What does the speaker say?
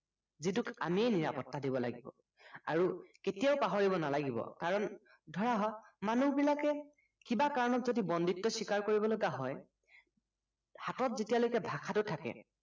যিটোক আমিয়েই নিৰাপত্তা দিব লাগিব আৰু কেতিয়াও পাহৰিব নালাগিব কাৰণ ধৰা হল মানুুহবিলাকে কিবা কাৰণত যদি বন্দীত্ব স্ৱীকাৰ কৰিব লগা হয় হাতত যেতিয়ালৈকে ভাষাটো থাকে